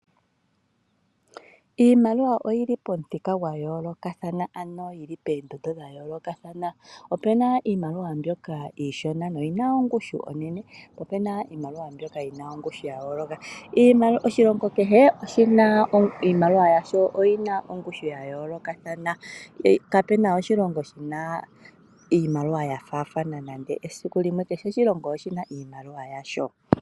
Iimaliwa oyi li pomuthika gwa yoolokathana, ano yi li poondondo dha yoolokathana. Opu na iimaliwa mbyoka iishona noyi na ongushu onene nopu na iimaliwa mbyoka yi na ongushu ya yooloka. Oshilongo kehe oshi na iimaliwa yasho oyi na ongushu ya yoolokathana kapu na oshilongo shi na iimaliwa ya faathana nande esiku limwe kehe oshilongo oshi na iimaliwa yasho.